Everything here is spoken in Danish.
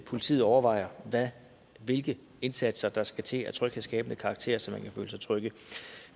politiet overvejer hvilke indsatser der skal til af tryghedsskabende karakter så folk kan føle sig trygge